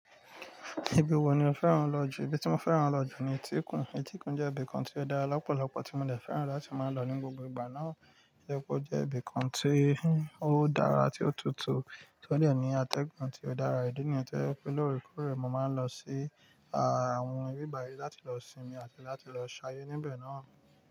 Ibi wo ni o fẹ́ràn lọ jù? Ibi tí mo fẹ́ràn lọ jù ni Etíkun. Etíkun jẹ́ ibi kan tí ó dára lọ́pọ̀lọpọ̀, tí mo de fẹ́ràn láti máa n lọ ní gbogbo ìgbà náà. Etikum jẹ́ ibi kan tí ó dára tí ó tutù, tí ó de ní atẹ́gùn tí ó dára. Ídi nìyẹ̀n tí ó je pé lóòrèkóòrè, mo máa ń lọ sí àwọn ibi báyí láti lọ sinmi àti láti lọ ṣayé níbẹ̀ náà.